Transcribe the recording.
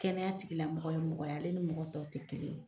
Kɛnɛya tigila mɔgɔ ye mɔgɔ ye ale ni mɔgɔ tɔ tɛ kelen ye.